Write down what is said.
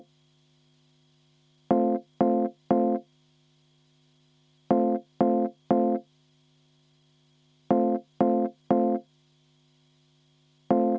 Aitäh sõna andmast!